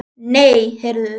Nei, heyrðu!